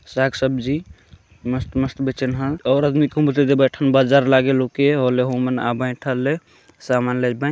साग सब्जी मस्त मस्त बेचन हा और बैठन बाजार लागे ओके और ओले ओहम आ बैठले समान लेचबे--